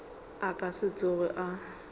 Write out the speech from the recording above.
a ka se tsoge a